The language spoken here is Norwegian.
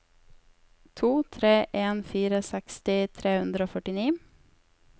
to tre en fire seksti tre hundre og førtini